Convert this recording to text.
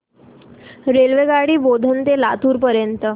रेल्वेगाडी बोधन ते लातूर पर्यंत